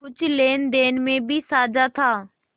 कुछ लेनदेन में भी साझा था